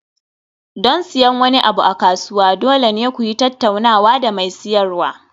Don siyan wani abu a kasuwa, dole ne ku yi tattaunawa da mai siyarwa.